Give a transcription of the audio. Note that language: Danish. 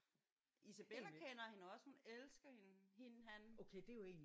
Isabella kender hende også. Hun elsker hende hende han